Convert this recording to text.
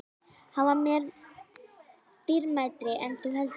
Hann var mér dýrmætari en þú heldur.